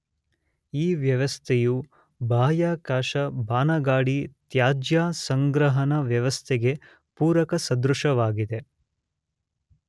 ಈ ವ್ಯವಸ್ಥೆಯು ಬಾಹ್ಯಾಕಾಶ ಬಾನಗಾಡಿ ತ್ಯಾಜ್ಯ ಸಂಗ್ರಹಣಾ ವ್ಯವಸ್ಥೆಗೆ ಪೂರಕ ಸದೃಶವಾಗಿದೆ.